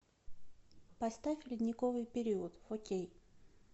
поставь ледниковый период фо кей